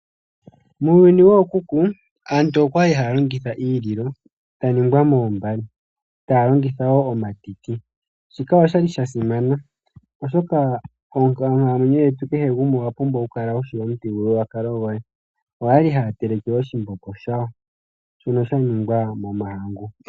Muuyuni wookuku aantu okwali haya longitha iililo ya ningwa moombale, taya longitha wo omatiti. Shika osha li sha simana oshoka onkalamwenyo yetu kehe gumwe owa pumbwa okukala wushi omuthigululwakalo goye. Oya li haya teleke oshimbombo shawo shono sha ningwa momahangu.